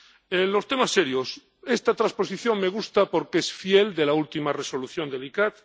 En los temas serios, esta transposición me gusta porque es fiel a la última Resolución del ICCAT.